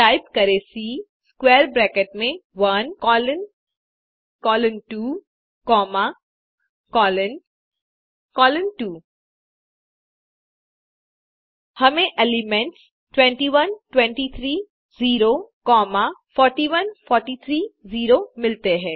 type करें C square bracket में 1 colon colon 2 comma colon colon 2 हमें एलिमेंट्स 21 23 0 कॉमा 41 43 0 मिलते हैं